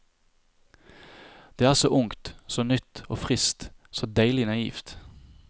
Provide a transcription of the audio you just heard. Det er så ungt, så nytt og frist, så deilig naivt.